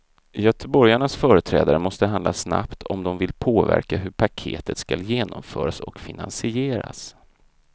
Göteborgarnas företrädare måste handla snabbt om de vill påverka hur paketet skall genomföras och finansieras.